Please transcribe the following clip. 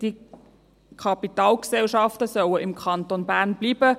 Die Kapitalgesellschaften sollen im Kanton Bern bleiben.